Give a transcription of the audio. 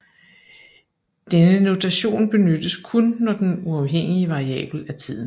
Denne notation benyttes kun når den uafhængige variabel er tiden